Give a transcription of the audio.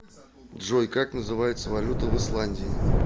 джой как называется валюта в исландии